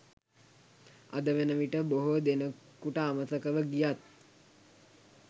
අද වනවිට බොහෝ දෙනකුට අමතකව ගියත්